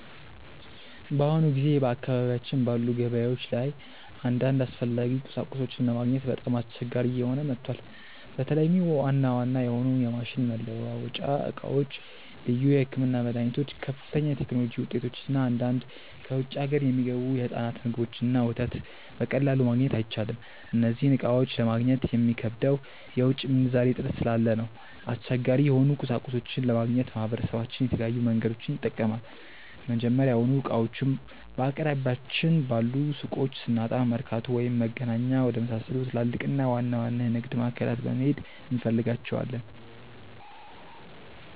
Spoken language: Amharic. በአሁኑ ጊዜ በአካባቢያችን ባሉ ገበያዎች ላይ አንዳንድ አስፈላጊ ቁሳቁሶችን ለማግኘት በጣም አስቸጋሪ እየሆነ መጥቷል። በተለይም ዋና ዋና የሆኑ የማሽን መለዋወጫ ዕቃዎች፣ ልዩ የሕክምና መድኃኒቶች፣ ከፍተኛ የቴክኖሎጂ ውጤቶች እና አንዳንድ ከውጭ አገር የሚገቡ የሕፃናት ምግቦችንና ወተት በቀላሉ ማግኘት አይቻልም። እነዚህን ዕቃዎች ለማግኘት የሚከብደው የውጭ ምንዛሬ እጥረት ስላለ ነው። አስቸጋሪ የሆኑ ቁሳቁሶችን ለማግኘት ማህበረሰባችን የተለያዩ መንገዶችን ይጠቀማል። መጀመሪያውኑ ዕቃዎቹን በአቅራቢያችን ባሉ ሱቆች ስናጣ፣ መርካቶ ወይም መገናኛ ወደመሳሰሉ ትላልቅና ዋና ዋና የንግድ ማዕከላት በመሄድ እንፈልጋቸዋለን።